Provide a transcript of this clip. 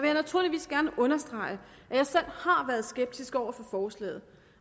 jeg naturligvis gerne understrege at jeg selv har været skeptisk over for forslaget